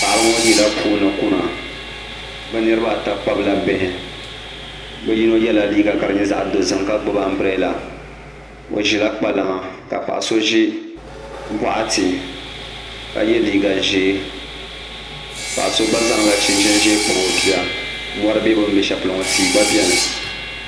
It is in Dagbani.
Paɣaba ŋo yila puuni kuna bi niraba ata kpabila bihi bi niraba ayi yɛla liiga ka di nyɛ zaɣ dozim ka gbubi anbirɛla o ʒila kpalaŋa ka paɣa so ʒi boɣati ka yɛ liiga ʒiɛ paɣa so gba zaŋla chinchin ʒiɛ kpabi o bia mori bɛ bi ni bɛ shɛli polo ŋo tia gba biɛni